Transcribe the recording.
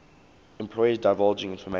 employees divulging information